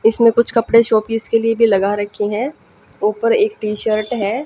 इसमें कुछ पकड़े शो पीस के लिए भी लगा रखी हैं ऊपर एक टी शर्ट है।